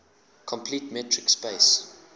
complete metric space